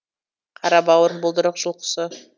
қарабауыр бұлдырық жыл құсы